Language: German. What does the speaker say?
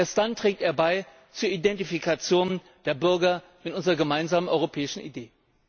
Erst dann trägt er bei zur Identifikation der Bürger mit unserer gemeinsamen europäischen Idee.